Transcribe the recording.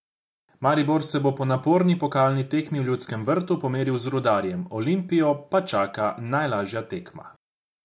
Maribor se bo po naporni pokalni tekmi v Ljudskem vrtu pomeril z Rudarjem, Olimpijo pa čaka najlažja tekma.